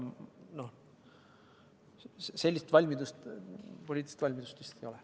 Sellist poliitilist valmidust vist ei ole.